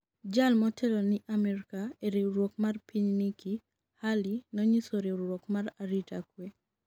jal motelo ni Amerka e riwruok mar piny Nikki Haley nonyiso riwruok mar arita kwe